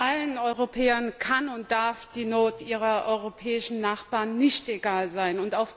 Allen Europäern kann und darf die Not ihrer europäischen Nachbarn nicht egal sein.